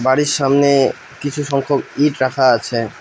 বাড়ির সামনে কিছু সংখ্যক ইট রাখা আছে।